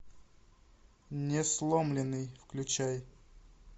несломленный включай